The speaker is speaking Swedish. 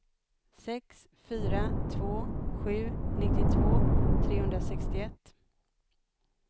sex fyra två sju nittiotvå trehundrasextioett